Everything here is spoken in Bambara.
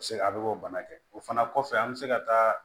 Se a bɛ k'o bana kɛ o fana kɔfɛ an bɛ se ka taa